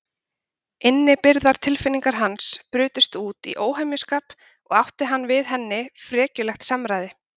Innibyrgðar tilfinningar hans brutust út í óhemjuskap og átti hann við henni frekjulegt samræði.